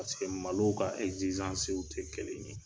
Paseke malow ka tɛ kelen ye.